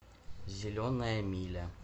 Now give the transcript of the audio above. зеленая миля